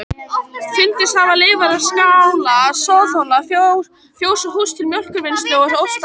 Fundist hafa leifar af skála, soðhola, fjós og hús til mjólkurvinnslu og ostagerðar.